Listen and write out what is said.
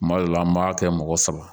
Kuma dɔ la an b'a kɛ mɔgɔ saba